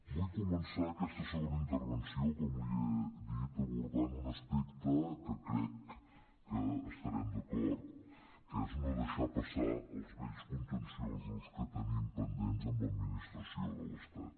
vull començar aquesta segona intervenció com li he dit abordant un aspecte que crec que hi estarem d’acord que és no deixar passar els vells contenciosos que tenim pendents amb l’administració de l’estat